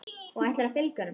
Og ætlarðu að fylgja honum?